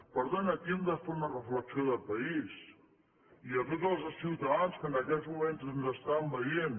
per tant aquí hem de fer una reflexió de país i a tots els ciutadans que en aquests moments ens estan veient